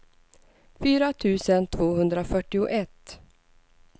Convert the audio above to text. fyra tusen tvåhundrafyrtioett